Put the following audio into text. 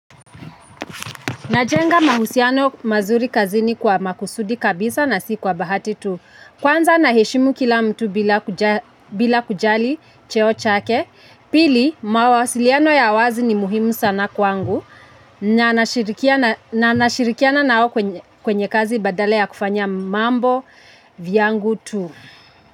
Najenga mahusiano mazuri kazini kwa makusudi kabisa na si kwa bahati tu. Kwanza naheshimu kila mtu bila kujali cheo chake. Pili, mawasiliano ya wazi ni muhimu sana kwangu. Na nashirikiana nao kwenye kazi badala ya kufanya mambo viyangu tu.